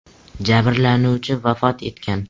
Jabrlanuvchi vafot etgan.